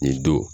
Nin don